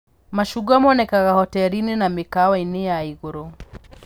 Macungwa monekanaga hoteri-inĩ na mĩkawa-inĩ ya ĩgũrũ